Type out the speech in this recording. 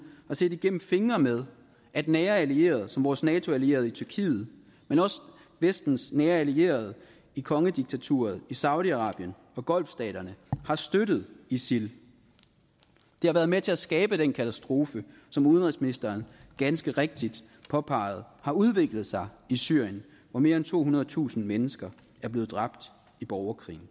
har set igennem fingre med at nære allierede som vores nato allierede tyrkiet men også vestens nære allierede i kongediktaturerne i saudi arabien og golftstaterne har støttet isil det har været med til at skabe den katastrofe som udenrigsministeren ganske rigtigt påpegede har udviklet sig i syrien hvor mere end tohundredetusind mennesker er blevet dræbt i borgerkrigen